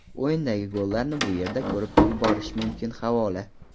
O‘yindagi gollarni bu yerda ko‘rib borish mumkin havola .